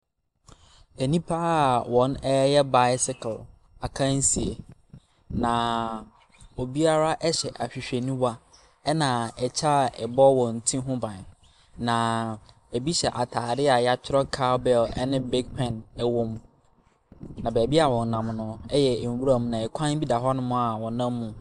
Nnipa a wɔreyɛ bicycle akansie, na obiara hyɛ ahwehwɛniwa, ɛnna kyɛ a ɛbɔ wɔn ti ho ban, na ebi hyɛ atadeɛ a wɔatwerɛ cowbell ne pic pen wom, na baabi a wɔnam no yɛ nwiram, na kwan bi da hɔnom a wɔnam mu.